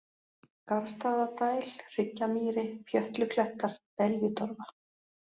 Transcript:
Garðstaðadæl, Hryggjamýri, Pjötluklettar, Beljutorfa